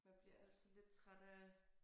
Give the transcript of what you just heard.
Man bliver altid lidt træt af